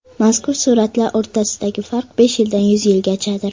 Mazkur suratlar o‘rtasidagi farq besh yildan yuz yilgachadir.